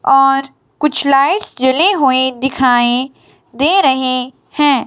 और कुछ लाइट जले हुए दिखाएं दे रहे हैं।